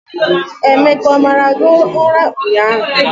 Emeka o mara gị ụra ụnyahụ?